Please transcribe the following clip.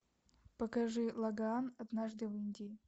покажи лагаан однажды в индии